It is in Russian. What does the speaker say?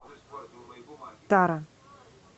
тара